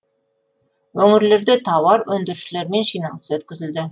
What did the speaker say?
өңірлерде тауар өндірушілермен жиналыс өткізілді